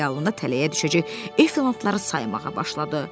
Xəyalında tələyə düşəcək efantları saymağa başladı.